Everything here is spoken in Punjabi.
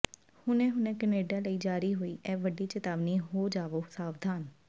ਹੁਣੇ ਹੁਣੇ ਕਨੇਡਾ ਲਈ ਜਾਰੀ ਹੋਈ ਇਹ ਵੱਡੀ ਚੇਤਾਵਨੀ ਹੋ ਜਾਵੋ ਸਾਵਧਾਨ